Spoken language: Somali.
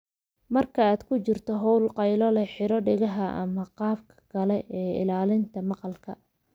Marka aad ku jirto hawl qaylo leh, xidho dhegaha ama qalabka kale ee ilaalinta maqalka.